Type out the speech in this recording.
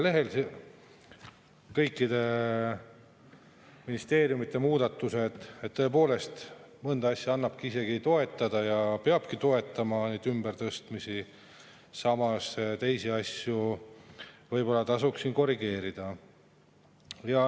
Tõepoolest, mõnda ümbertõstmist annab isegi toetada ja peabki toetama, samas teisi asju võib-olla tasuks korrigeerida.